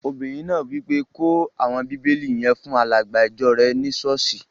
Obìnrin náà wí pé, 'kó àwọn bíbélì yẹn fún alàgbà ìjọ rẹ ní sọ́ọ̀sì!